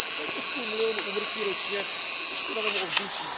Téměř půl milionu úmrtí ročně díky špinavému ovzduší.